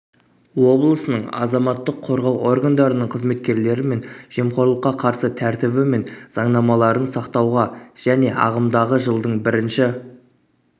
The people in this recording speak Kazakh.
облысының азаматтық қорғау органдарының қызметкерлерімен жемқорлыққа қарсы тәртібі мен заннамаларын сақтауға және ағымдағы жылдың бірінші